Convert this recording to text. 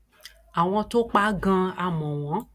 àwọn tó pa á ganan a ò mọ wọn